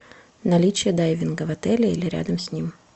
наличие дайвинга в отеле или рядом с ним